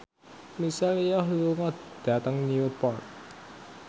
Michelle Yeoh lunga dhateng Newport